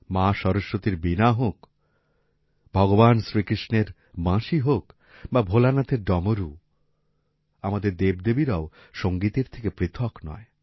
মা সরস্বতীর বীণা হোক ভগবান শ্রীকৃষ্ণের বাঁশি হোক বা ভোলানাথের ডমরু আমাদের দেব দেবীরাও সংগীতের থেকে পৃথক নয়